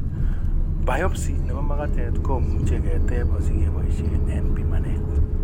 Biopsy nebo magatet komuche ketep asigeboisien en pimanet